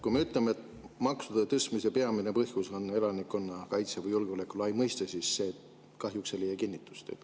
Kui me ütleme, et maksude tõstmise peamine põhjus on elanikkonnakaitse või julgeolek laias mõistes, siis see kahjuks ei leia kinnitust.